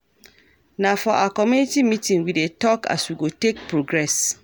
Na for our community meeting we dey tok as we go take progress.